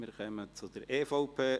Wir kommen zur EVP: